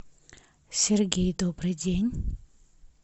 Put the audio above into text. сергей добрый день